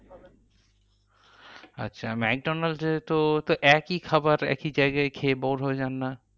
আচ্ছা, ম্যাকডোনালসে তো তো একই খাবার একই জায়গায় খেয়ে bore হয়ে যান না?